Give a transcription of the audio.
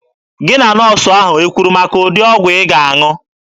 Gị na nọọsụ ahụ ekwuru maka ụdị ọgwụ ị ga-aṅụ?